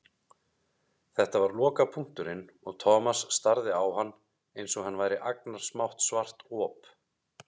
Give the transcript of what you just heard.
Þetta var lokapunkturinn og Thomas starði á hann einsog hann væri agnarsmátt svart op.